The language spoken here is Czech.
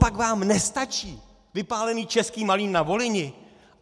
Copak vám nestačí vypálený Český Malín na Volyni?